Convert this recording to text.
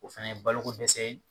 O fana ye balo ko dɛsɛ ye